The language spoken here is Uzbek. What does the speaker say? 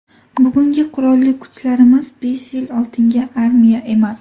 Bugungi Qurolli Kuchlarimiz besh yil oldingi armiya emas.